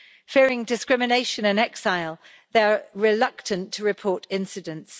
Fearing discrimination in exile, they are reluctant to report incidents.